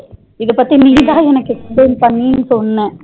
இதபத்தி நீ தா எனக்கு explain பண்ணி சொன்ன